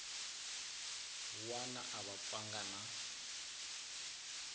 wana a va pfanga na